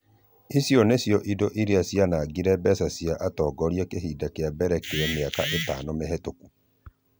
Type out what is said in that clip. Icio nĩcio indo iria cianangire mbica ya atongoria kĩhinda kĩa mbere kĩa mĩaka ĩtano mĩhĩtoku.